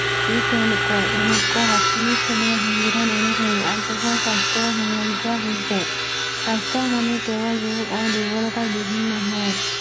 ই তেওঁলোকৰ ঊনৈশ সাতচল্লিছ চনৰ সংবিধান অনুসৰি আগবঢোৱা স্বাস্থ্য সমন্ধে হৈছে স্বাস্থ্য মানে কেৱল ৰোগ আৰু দুৰ্বলতা বিহিন নহয়